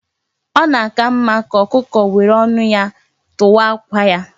Ọ na aka mma ka ọkụkọ were ọnụ ya tụwa àkwà ya